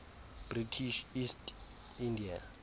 british east india